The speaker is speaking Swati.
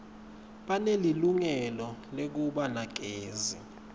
banelilungelo lekuba nagezi